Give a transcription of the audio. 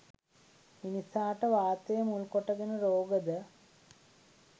මිනිසාට වාතය මුල් කොට ගෙන රෝග ද